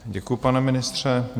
Děkuji, pane ministře.